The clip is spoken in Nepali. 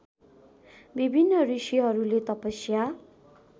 विभिन्न ऋषिहरूले तपस्या